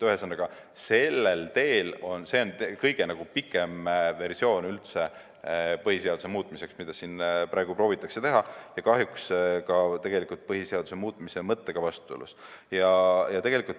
Ühesõnaga, see, mida siin praegu proovitakse teha, on kõige pikem versioon üldse põhiseaduse muutmiseks ja kahjuks tegelikult põhiseaduse muutmise mõttega vastuolus.